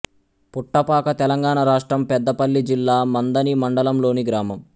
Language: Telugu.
పుట్టపాక తెలంగాణ రాష్ట్రం పెద్దపల్లి జిల్లా మంథని మండలంలోని గ్రామం